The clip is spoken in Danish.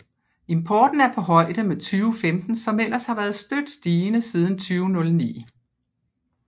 Importen er på højde med 2015 som ellers har været støt stigende siden 2009